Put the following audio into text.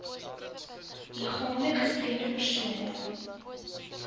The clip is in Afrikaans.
liggaamlik gestremde persone